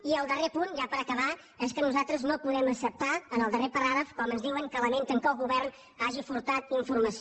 i el darrer punt ja per acabar és que nosaltres no podem acceptar en el darrer paràgraf com ens diuen que lamenten que el govern hagi furtat informació